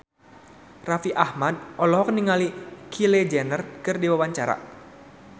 Raffi Ahmad olohok ningali Kylie Jenner keur diwawancara